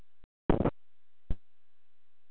Eitthvað var öðruvísi í þetta sinn.